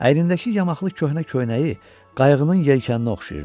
Əynindəki yamaxlı köhnə köynəyi qayığının yelkanı oxşayırdı.